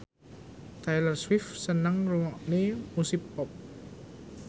Taylor Swift seneng ngrungokne musik pop